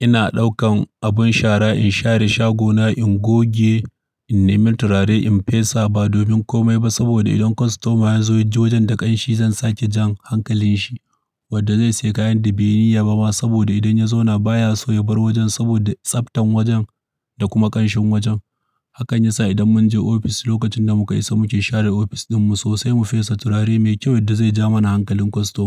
ina ɗaukan abin shara in share shagona, in goge, in nemi turare, in fesa ba domin komai ba. Saboda idan kwastomai sun zo, yaji wajen da ƙanshi, zan sake jan hankalin shi wadda zai sayi kayan da bai yi niyya ba ma. Saboda idan ya zo na baya so ya bar wajen saboda tsaftan wajen da kuma ƙanshin wajen. Hakan yasa idan mun je ofis, lokacin da mu ka isa muke share ofis ɗinmu sosai mu fesa turare mai kyau wadda zai jawo mana hankalin kwastoma.